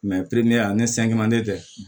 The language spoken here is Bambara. ani tɛ